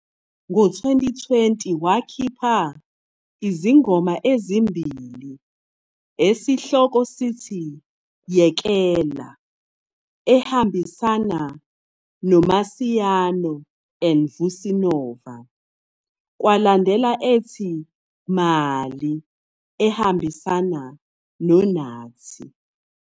Ngo-2020, wakhipha izingoma ezimbili esihloko sithi "Yekela" ehambisana noMasiano and Vusi Nova kwalandela ethi "Mali" ehambisana noNathi.